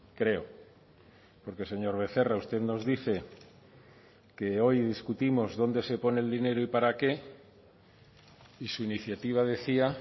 creo porque señor becerra usted nos dice que hoy discutimos dónde se pone el dinero y para qué y su iniciativa decía